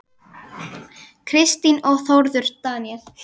Kristín og Þórður Daníel.